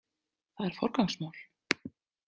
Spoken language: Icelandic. Það er forgangsmál.